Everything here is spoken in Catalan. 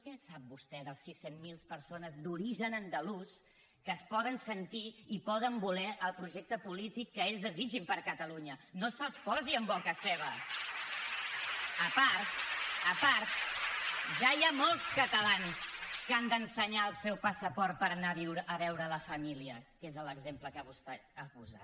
què sap vostè de les sis cents miler persones d’origen andalús que es poden sentir i poden voler el projecte polític que ells desitgin per a catalunya no se’ls posi en boca seva a part a part ja hi ha molts catalans que han d’ensenyar el seu passaport per anar a veure la família que és l’exemple que vostè ha posat